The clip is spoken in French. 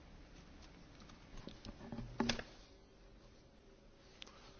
Monsieur le Président, chers collègues, je soutiens cette initiative, qui va dans le bon sens.